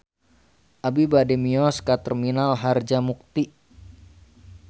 Abi bade mios ka Terminal Harjamukti